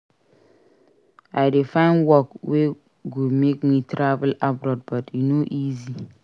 I dey find work wey go make me travel abroad but e no easy.